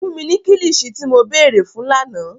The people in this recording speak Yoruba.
Fun mi ni kilichi ti mo beere fun làná!